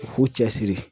U k'u cɛ siri